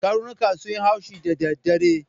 Karnuka sun yi haushi da daddare.